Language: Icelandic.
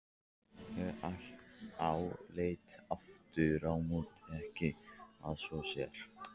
Ég álít afturámóti ekki að svo sé.